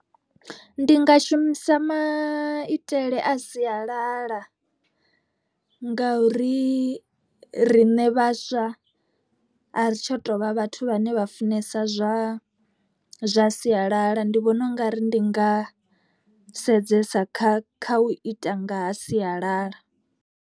Ndi nga shumisa maitele a sialala, ngauri riṋe vhaswa a ri tsha tovha vhathu vhane vha funesa zwa zwa sialala. Ndi vhona u nga ri ndi nga sedzesa kha kha u ita ngaha sialala.